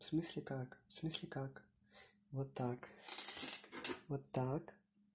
в смысле как в смысле как вот так вот так